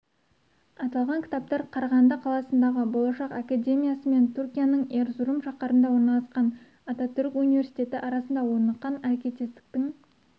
аталған кітаптар қарағанды қаласындағы болашақ академиясы мен түркияның эрзурум шаһарында орналасқан ататүрік университеті арасында орныққан әрекеттестіктің